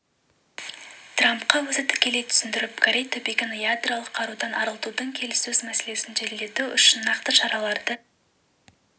трампқа өзі тікелей түсіндіріп корей түбегін ядролық қарудан арылтудың келіссөз мәселесін жеделдету үшін нақты шараларды